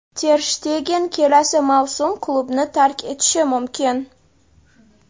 Ter Shtegen kelasi mavsum klubni tark etishi mumkin.